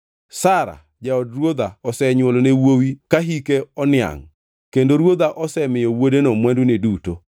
Sara, jaod ruodha osenywolone wuowi ka hike oniangʼ kendo ruodha osemiyo wuodeno mwandune duto.